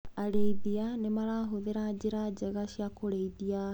Arĩithia marahũthĩra njĩra njega cia kũrĩithia.